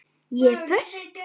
Ég er föst.